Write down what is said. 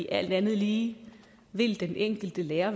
alt andet lige vil den enkelte lærer